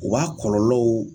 U b'a kɔlɔlɔw